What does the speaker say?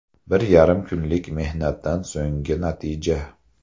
Bir yarim kunlik mehnatdan so‘nggi natija”.